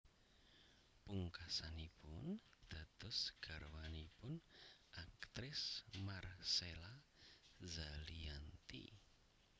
Pungkasanipun dados garwanipun aktris Marcella Zalianty